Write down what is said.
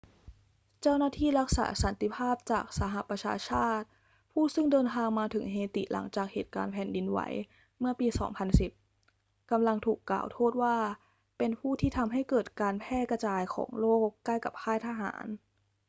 เจ้าหน้าที่รักษาสันติภาพจากสหประชาชาติผู้ซึ่งเดินทางมาถึงเฮติหลังจากเหตุการณ์แผ่นดินไหวเมื่อปี 2010 กำลังถูกกล่าวโทษว่าเป็นผู้ที่ทำให้เกิดการแพร่กระจายของโรคใกล้กับค่ายทหาร